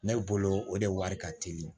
Ne bolo o de wari ka teli